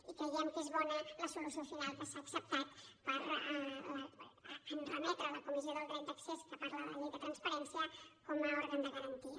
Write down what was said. i creiem que és bona la solució final que s’ha acceptat en remetre a la comissió del dret d’accés de què parla la llei de transparència com a òrgan de garantia